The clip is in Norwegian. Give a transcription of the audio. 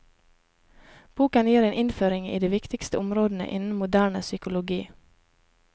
Boken gir en innføring i de viktigste områdene innen moderne psykologi.